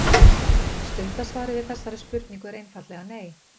Stutta svarið við þessari spurningu er einfaldlega nei.